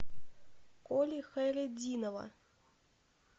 коли хайретдинова